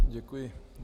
Děkuji.